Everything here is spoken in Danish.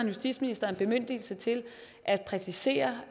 justitsministeren bemyndigelse til at præcisere